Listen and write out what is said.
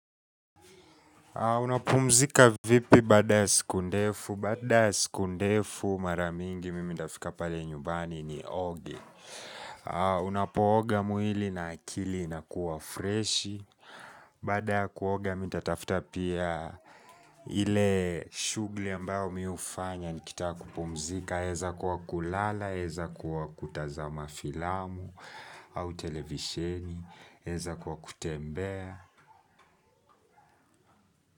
Unapumzika vipi baada ya siku ndefu? Baada ya siku ndefu mara mingi mimi ndafika pale nyubani nioge Unapooga mwili na akili inakuwa freshi Baada ya kuoga mi ntatafuta pia ile shughuli ambayo mi hufanya nikitaka kupumzika yaeza kuwa kulala, yaeza kuwa kutazama filamu au televisheni yaeza kuwa kutembea.